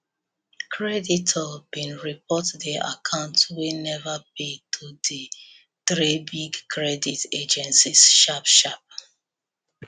creditor been report the account wey never pay to di three big credit agencies sharp sharp